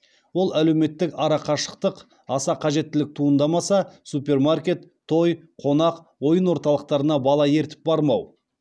ол әлеуметтік ара қашықтық аса қажеттілік туындамаса супермаркет той қонақ ойын орталықтарына бала ертіп бармау